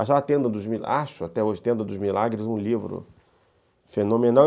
Acho, até hoje, Tenda dos Milagres um livro fenomenal.